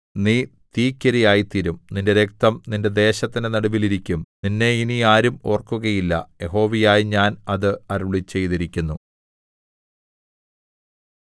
നീ തീയ്ക്കിരയായ്തീരും നിന്റെ രക്തം നിന്റെ ദേശത്തിന്റെ നടുവിൽ ഇരിക്കും നിന്നെ ഇനി ആരും ഓർക്കുകയില്ല യഹോവയായ ഞാൻ അത് അരുളിച്ചെയ്തിരിക്കുന്നു